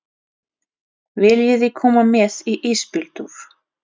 Viljiði koma með í ísbíltúr?